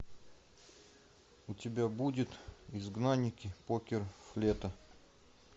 у тебя будет изгнанники покер флета